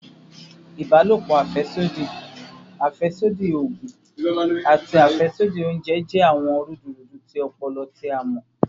Ibalopo afẹsodi, afẹsodi oogun, ati afẹsodi ounjẹ jẹ awọn rudurudu ti ọpọlọ ti a mọ